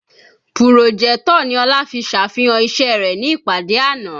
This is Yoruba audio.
Pùròjẹ́tọ̀ ni Ọlá fi sàfihàn iṣẹ́ rẹ̀ ní ìpàdé àná